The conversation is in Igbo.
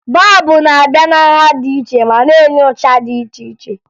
Bọọbụ n'abịa na nha dị iche ma na-enye ụcha dị iche iche